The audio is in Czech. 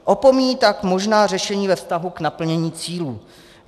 Opomíjí tak možná řešení ve vztahu k naplnění cílů.